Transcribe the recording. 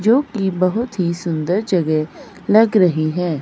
जो की बहुत ही सुंदर जगह लग रही है।